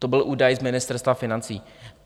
To byl údaj z Ministerstva financí.